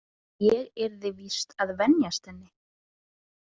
Ég yrði víst að venjast henni.